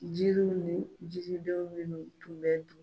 Jiri ni jiriden minnu tun bɛ dun.